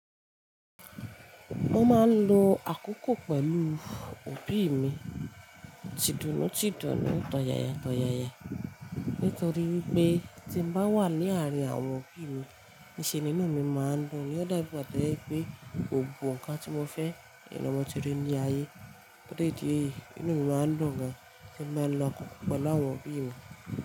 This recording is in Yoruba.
Mo máa ń lo àkókò pẹ̀lú òbí mi, t'ìdùnnú t'ìdùnnú, tọ̀yàyà tọ̀yàyà nítorí wípé tí ń bá wà ní àárín àwọn òbí mi, níṣe nínú mi máa ń dùn. Ó dàbí gba toje wipé gbogbo nǹkan tí mo fẹ́ n ni mo ti rí ní ayé torí ìdí èyí, inú mi máa ń dùn gan tí mo bá n lọ àkókò pẹ̀lú àwọn òbí mi.